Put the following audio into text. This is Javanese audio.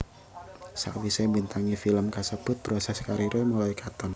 Sawisé mbintangi film kasebut proses kariré mulai katon